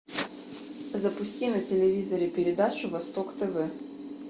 запусти на телевизоре передачу восток тв